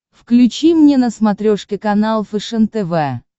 включи мне на смотрешке канал фэшен тв